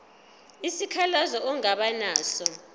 isikhalazo ongaba naso